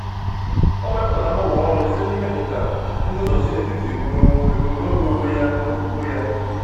O mepụtara mgbanwe ọrụ site na imepụta nguzozi n’etiti um ebumnobi onwe ya na okwukwe ya.